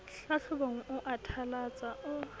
hlahlobong o a thalatsa o